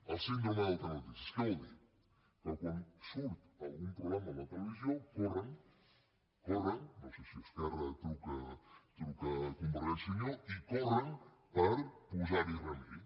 la síndrome del telenotícies què vol dir que quan surt algun problema a la televisió corren corren no sé si esquerra truca a convergència i unió i corren per posar hi remei